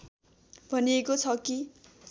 भनिएको छ कि